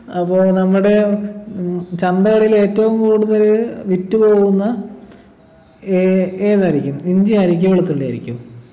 അപ്പൊ നമ്മുടെ ഉം ചന്തകളിൽ ഏറ്റവും കൂടുതൽ വിറ്റുപോകുന്ന ഏർ ഏതായിരിക്കും ഇഞ്ചിയായിരിക്കോ വെളുത്തുള്ളിയായിരിക്കോ